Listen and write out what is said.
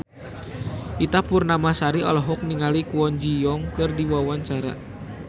Ita Purnamasari olohok ningali Kwon Ji Yong keur diwawancara